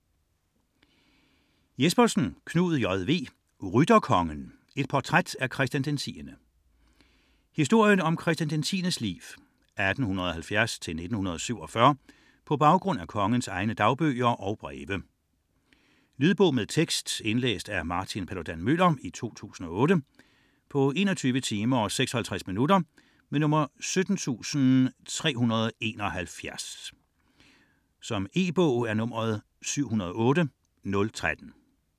99.4 Christian: konge af Danmark Jespersen, Knud J. V.: Rytterkongen: et portræt af Christian 10. Historien om Christian 10.'s liv (1870-1947) på baggrund af kongens egne dagbøger og breve. Lydbog med tekst 17371 Indlæst af Martin Paludan-Müller, 2008. Spilletid: 21 timer, 56 minutter. E-bog 708013 2008.